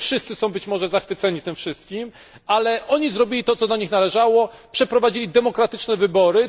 Nie wszyscy są być może zachwyceni tym wszystkim, ale oni zrobili to, co do nich należało przeprowadzili demokratyczne wybory.